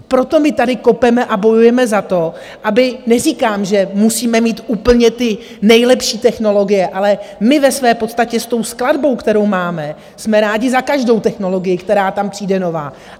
Proto my tady kopeme a bojujeme za to, aby - neříkám, že musíme mít úplně ty nejlepší technologie, ale my ve své podstatě s tou skladbou, kterou máme, jsme rádi za každou technologii, která tam přijde nová.